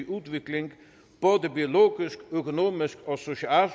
udvikling både biologisk økonomisk og socialt